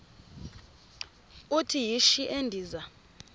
uthi yishi endiza